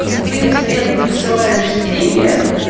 ты в среду присылаешь стикер